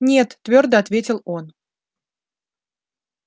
нет твёрдо ответил он